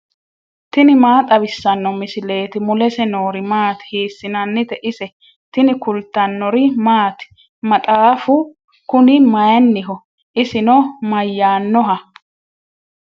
tini maa xawissanno misileeti ? mulese noori maati ? hiissinannite ise ? tini kultannori maati? Maxxaffu kunni mayiiniho? isinno mayaannoha?